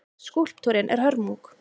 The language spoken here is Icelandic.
Skúlptúrinn er hörmung.